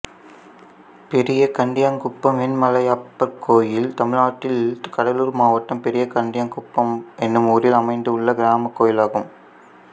பெரியகண்டியங்குப்பம் வெண்மலையப்பர் கோயில் தமிழ்நாட்டில் கடலூர் மாவட்டம் பெரியகண்டியங்குப்பம் என்னும் ஊரில் அமைந்துள்ள கிராமக் கோயிலாகும்